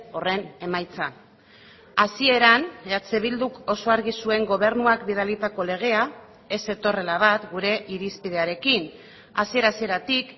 horren emaitza hasieran eh bilduk oso argi zuen gobernuak bidalitako legea ez zetorrela bat gure irizpidearekin hasiera hasieratik